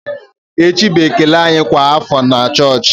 Echi bụ ekele anyị kwa afọ na chọọchị.